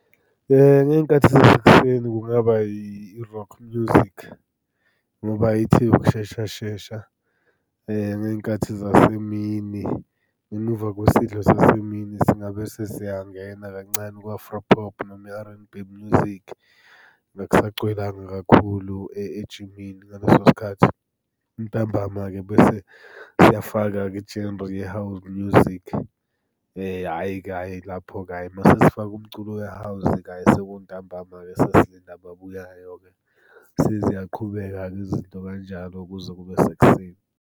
Ngey'nkathi zasekuseni kungaba yi-rock music, ngoba ithi ukushesha shesha. Ngey'nkathi zasemini, ngemuva kwesidlo sasemini singabe sesiyangena kancane ku-Afropop noma i-R and B music. Akusagcwelanga kakhulu ejimini ngaleso sikhathi. Ntambama-ke bese siyafaka-ke i-genre ye-house music. Hhayi-ke hhayi lapho-ke hhayi uma sesifake umculo we-house-ke hhayi sekuntambama-ke sesilinde ababuyayo-ke. Seziyaqhubeka-ke izinto kanjalo kuze kube sekuseni.